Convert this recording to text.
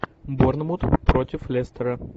борнмут против лестера